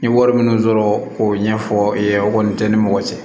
N ye wari minnu sɔrɔ k'o ɲɛfɔ i ye o kɔni tɛ ni mɔgɔ cɛ